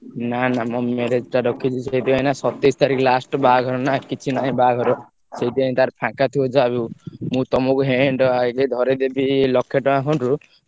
ନାଁ ନାଁ ମୋ marriage ଟା ରଖିଛି ନାଁ ସେଇଥି ପାଇଁ ସତେଇଶତାରିଖ last ବାହାଘର ନାଁ କିଛି ନାହିଁ ବାହାଘର ସେଇଥି ପାଇଁ ତାର ଫାଙ୍କ ଥିବ ଯାହାବି ହଉ ମୁଁ ତମକୁ hand wise ଧରେଇଦେବି ଲକ୍ଷେ ଟଙ୍କା fund ରୁ ।